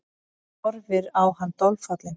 Horfir á hann dolfallin.